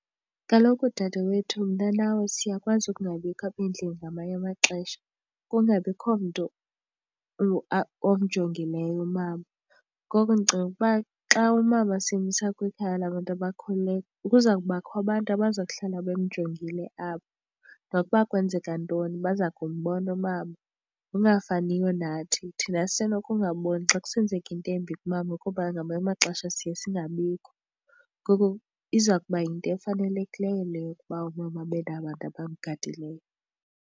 Kaloku, dadewethu, mna nawe siyakwazi ukungabikho apha endlini ngamanye amaxesha kungabikho mntu omjongileyo umama. Ngoko ndicinga ukuba xa umama simsa kwikhaya labantu abakhulileyo kuza kubakho abantu abaza kuhlala bemjongile apho. Nokuba kwenzeka ntoni baza kumbona umama ngokungafaniyo nathi. Thina sisenokungaboni xa kusenzeka into embi kumama kuba ngamanye amaxesha siye singabikho. Ngoku iza kuba yinto efanelekileyo le yokuba umama abe nabantu abamgadileyo.